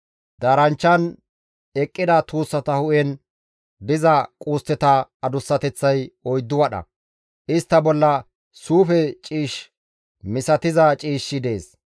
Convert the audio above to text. Daaranchchan eqqida tuussata hu7en diza qustteta adussateththay 4 wadha; istta bolla suufe ciish misatiza ciishshi dees.